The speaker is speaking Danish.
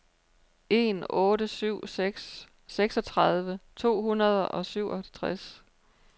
en otte syv seks seksogtredive to hundrede og syvogtres